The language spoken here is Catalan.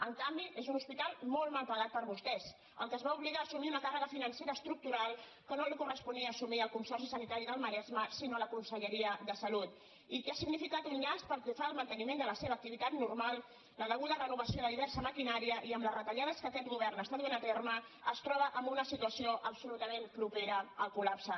en canvi és un hospital molt mal pagat per vostès al qual es va obligar a assumir una càrrega financera estructural que no li corresponia assumir al consorci sanitari del maresme sinó a la conselleria de salut i que ha significat un llast pel que fa al manteniment de la seva activitat normal i la deguda renovació de diversa maquinària i amb les retallades que aquest govern està duent a terme es troba en una situació absolutament propera al col·lapse